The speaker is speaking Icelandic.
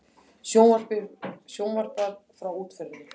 Sjónvarpað frá útförinni